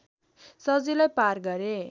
सजिलै पार गरे